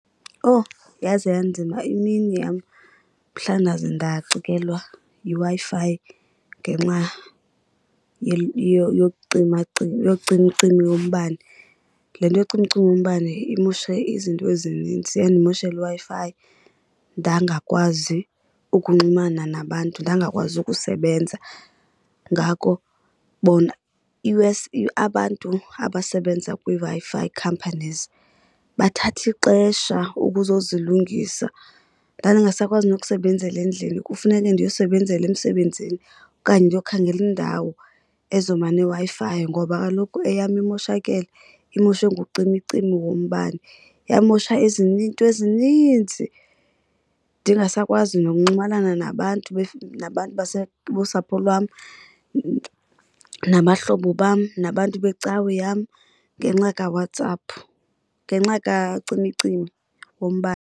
Owu, yaze yanzima imini yam mhla ndaze ndacikelwa yiWi-Fi ngenxa yokucimacima yocimicimi yombane. Le nto yocimicimi yombane imosha izinto ezininzi. Yandimoshela iWi-Fi ndangakwazi ukunxulumana nabantu, ndangakwazi ukusebenza. Ngako bona, i-worse abantu abasebenza kwiiWi-Fi companies bathatha ixesha ukuzozilungisa. Ndandingasakwazi nokusebenzela endlini, kufuneke ndiyosebenzela emsebenzini okanye ndiyokhangela indawo ezoba neWi-Fi ngoba kaloku eyam imoshakele, imoshwe ngucimicimi wombane. Yamosha iinto ezininzi, ndingasakwazi nokunxumalana nabantu nabantu nosapho lwam nabahlobo bam, nabantu becawe yam ngenxa kaWhatsApp, ngenxa kacimicimi wombane.